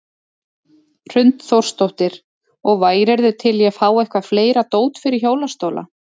Hrund Þórsdóttir: Og værirðu til í að fá eitthvað fleira dót fyrir hjólastóla?